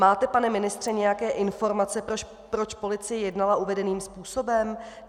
Máte, pane ministře, nějaké informace, proč policie jednala uvedeným způsobem?